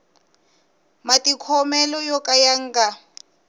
matikhomelo yo ka ya nga